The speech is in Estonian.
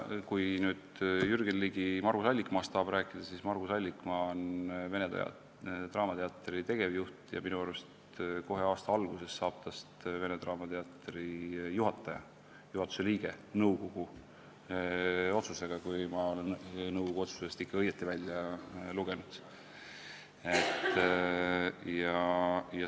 Kui Jürgen Ligi tahab Margus Allikmaast rääkida, siis ütlen, et Margus Allikmaa on vene draamateatri tegevjuht ja minu arust kohe aasta alguses saab tast nõukogu otsusega vene draamateatri juhatuse liige, kui ma olen nõukogu otsusest seda ikka õigesti välja lugenud.